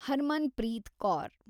Harmanpreet Kaur